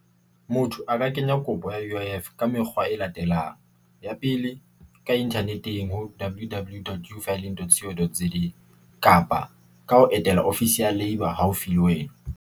Motho a ka kenya kopo ya U_I_F ka mekgwa e latelang ya pele ka Internet-eng ho W_W_W Dot kapa ka ho etela ofisi ya Labour haufi le wena.